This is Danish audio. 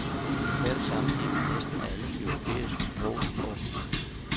I global sammenhæng er næsten alle de europæiske sprog små.